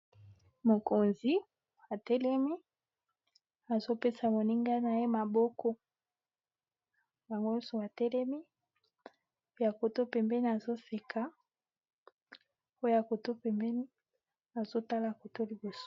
Mokonzi atelemi, azo pesa moninga na ye maboko. Bango nyonso batelemi. Oya kote pempeni, azo seka. Oya kote pembeni azo tala kote liboso.